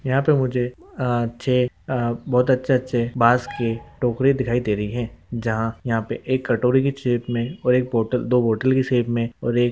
यहा पे मुझे चे बहोत अच्छे अच्छे बास के टोकरी दिखाई दे रही है | जहा यहा पे एक कटोरी की शैप मे और एक बोट दो बोतल की शैप मे और एक--